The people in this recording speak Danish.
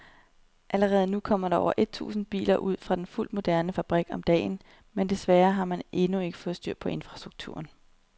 Allerede nu kommer der over et tusind biler ud fra den fuldt moderne fabrik om dagen, men desværre har man ikke fået styr på infrastrukturen.